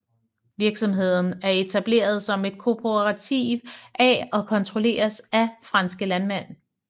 Virksomheden er etableret som et kooperativ af og kontrolleres af franske landmænd